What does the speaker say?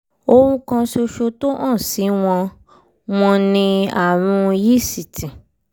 ohun kan ṣoṣo tó hàn sí wọn wọn ni àrùn yíìsìtì